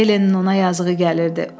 Ellenin ona yazığı gəlirdi.